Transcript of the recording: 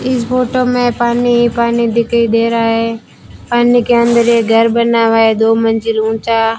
इस फोटो में पानी ही पानी दिखाई दे रहा है पानी के अंदर ये घर बना हुआ है दो मंजिल ऊंचा।